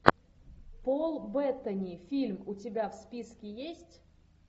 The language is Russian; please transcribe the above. пол беттани фильм у тебя в списке есть